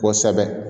Kosɛbɛ